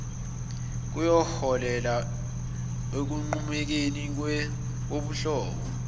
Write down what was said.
kuyoholela ekunqumukeni kobuhlobo